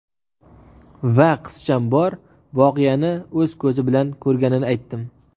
Va qizcham bor voqeani o‘z ko‘zi bilan ko‘rganini aytdim.